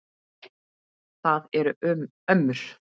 Það eru ömmur.